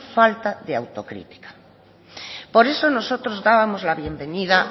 falta de autocrítica por eso nosotros dábamos la bienvenida